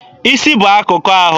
Isi bụ akụkụ ahụ.